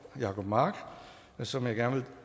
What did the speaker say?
jacob mark som jeg